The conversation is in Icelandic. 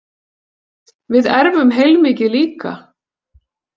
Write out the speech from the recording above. Við erfum heilmikið líka.